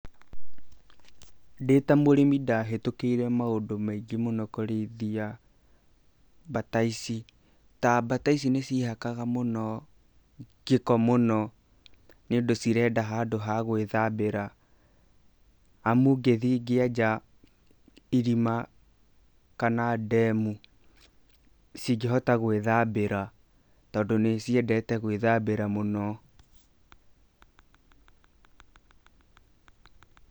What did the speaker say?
Ndĩ ta mũrĩmi ndahĩtũkĩire maũndũ maingĩ mũno kũrĩithia mbata ici, ta mbata ici nĩciehakaga gĩko mũno, nĩ ũndũ cirenda handũ ha gwĩthambĩra, amu ngĩthiĩ ngĩenja irima, kana ndemu cĩngĩhota gwĩthambĩra, tondũ nĩciendete gwĩthambĩra mũno.